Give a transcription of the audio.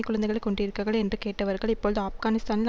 குழந்தைகளை கொன்றீர்கள் என்று கேட்டவர்கள் இப்பொழுது ஆப்கானிஸ்தானில்